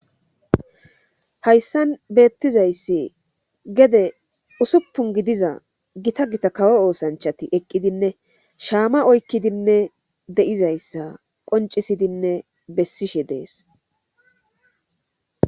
Hayssan beettizayssi gede usuppun gidiza gita gita kawo oosanchati eqqidinne shaama oykkidinne deizayssa qoncisidinne bessishe dees